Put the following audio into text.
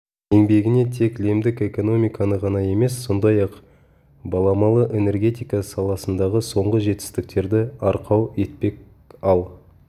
еңбегіне тек лемдік экономиканы ғана емес сондай-ақ баламалы энергетика саласындағы соңғы жетістіктерді арқау етпек ал